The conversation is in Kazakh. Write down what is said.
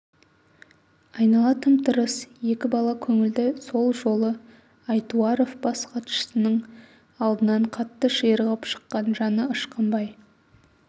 айнала тым-тырыс екі бала көңілді сол жолы айтуаров бас хатшының алдынан қатты ширығып шыққан жаны ышқынбай